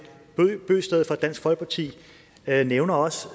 bøgsted fra dansk folkeparti nævner også